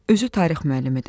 Özü tarix müəllimidir.